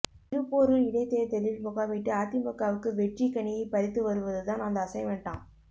திருப்போரூர் இடைத்தேர்தலில் முகாமிட்டு அதிமுகவுக்கு வெற்றி கனியை பறித்து வருவது தான் அந்த அசைன்மெண்டாம்